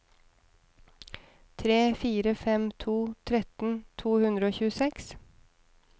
tre fire fem to tretten to hundre og tjueseks